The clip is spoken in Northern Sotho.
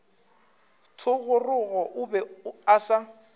thogorogo o be a sa